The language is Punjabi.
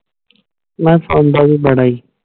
ਨਾ ਸੌਂਦਾ ਵੀ ਬੜਾ ਇ